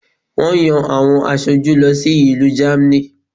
Wón yan àwọn asoju lọ sí ìlú Germany